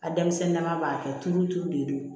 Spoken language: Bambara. A denmisɛnnin dama b'a kɛ tulu turu de don